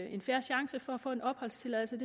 en fair chance for at få opholdstilladelse og